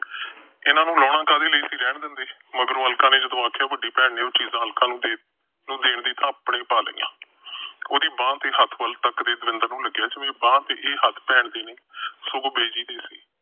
ਇਹਨੂੰ ਲਾਹਨਾ ਕਿਉਂ ਸੀ, ਰਹਿਣ ਦਿੰਦੇ, ਮਗਰੋਂ ਅਲਕਾ ਨੇ ਜਦੋਂ ਆਖਿਆ, ਵੱਡੀ ਭੈਣ ਨੇ ਉਹ ਚੀਜਾਂ ਅਲਕਾ ਨੂੰ ਦੇਣ ਦੀ ਥਾਂ ਆਪਣੇ ਹੀ ਪਾ ਲਈਆਂ। ਉਹਦੀ ਬਾਂਹ ਤੇ ਹੱਥ ਵੱਲ ਤੱਕਦੇ ਦਵਿੰਦਰ ਨੂੰ ਲੱਗਿਆ ਜਿਵੇਂ ਇਹ ਹੱਥ ਭੈਣ ਦੇ ਨਹੀਂ, ਸਗੋਂ ਬਿਜੀ ਦੇ ਸੀ।